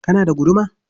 Kana da guduma?